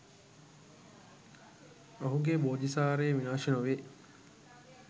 ඔහුගේ බෝධිසාරය විනාශ නොවේ.